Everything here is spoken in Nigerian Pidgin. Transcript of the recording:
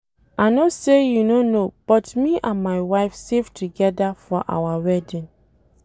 I no say you no know but me and my wife save together for our wedding.